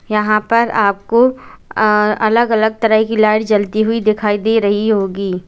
यहां पर आपको अलग अलग तरह की लाइट जलती हुई दिखाई दे रही होगी।